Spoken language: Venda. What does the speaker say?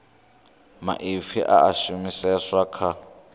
maipfi a a shumiseswa kha